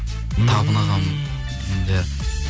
табын ағам иә